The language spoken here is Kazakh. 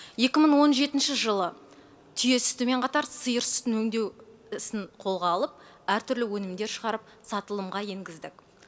екі мың он жетінші жылы түйе сүтімен қатар сиыр сүтін өңдеу ісін қолға алып әртүрлі өнімдер шығарып сатылымға енгіздік